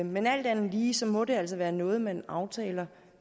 men alt andet lige må det altså være noget man aftaler